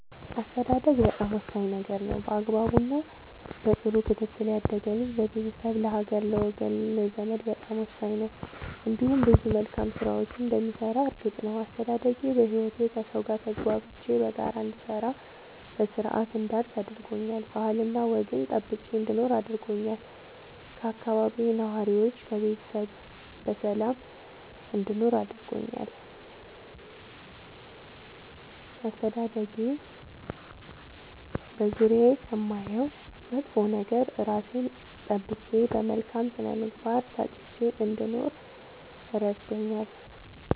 አስተዳደግ በጣም ወሳኝ ነገር ነው በአግባቡ እና በጥሩ ክትትል ያደገ ልጅ ለቤተሰብ ለሀገር ለወገን ለዘመድ በጣም ወሳኝ ነው እንዲሁም ብዙ መልካም ስራዎችን እንደሚሰራ እርግጥ ነው። አስተዳደጌ በህይወቴ ከሠው ጋር ተግባብቼ በጋራ እንድሰራ በስርአት እንዳድግ አድርጎኛል ባህልና ወግን ጠብቄ እንድኖር አድርጎኛል ከአካባቢዬ ነዋሪዎች ከቤተሰብ በሰላም እንድኖር አድርጎኛል። አስተዳደጌ በዙሪያዬ ከማየው መጥፎ ነገር እራሴን ጠብቄ በመልካም ስነ ምግባር ታንጬ እንድኖር እረድቶኛል።